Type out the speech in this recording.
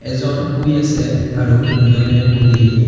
এইজন শুই আছে আৰু দুজনে বহি--